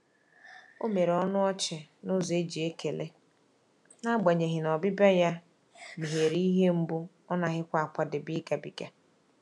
O mere ọnụ ọchị n’ụzọ e ji ekele, n'agbanyeghi na ọbịbịa ya meghere ihe mgbu ọ naghịkwa akwadebe ịgabiga.